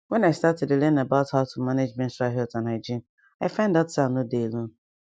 wen i start to dey learn about how to manage menstrual health and hygiene i find out say i nor dey alone